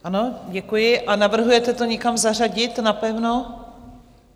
Ano, děkuji a navrhujete to někam zařadit napevno?